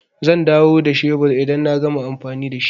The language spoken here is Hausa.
Zan dawo da shebur idan na gama amfani da shi.